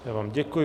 Já vám děkuji.